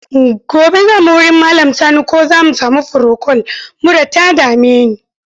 Gobe za mu wurin Malam Sani ko za mu sami furokol, mura ta dame ni.